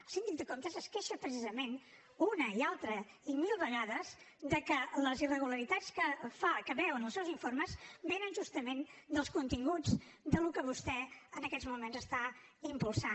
el síndic de comptes es queixa precisament una i altra i mil vegades de que les irregularitats que veu en els seus informes venen justament dels continguts del que vostè en aquests moments impulsa